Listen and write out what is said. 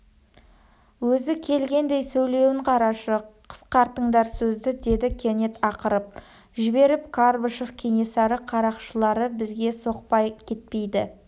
өзі келгендей сөйлеуін қарашы қысқартыңдар сөзді деді кенет ақырып жіберіп қарбышев кенесары қарақшылары бізге соқпай кетпейді